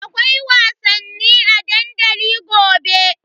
Akwai wasanni a dandali gobe.